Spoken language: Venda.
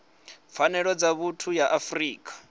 pfanelo dza vhuthu ya afrika